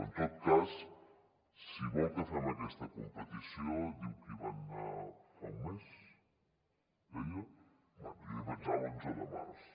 en tot cas si vol que fem aquesta competició diu que hi van anar fa un mes deia bé jo hi vaig anar l’onze de març